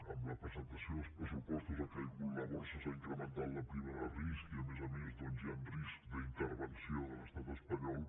amb la presentació dels pressupostos ha caigut la borsa s’ha incrementat la prima de risc i a més a més hi ha risc d’intervenció de l’estat espanyol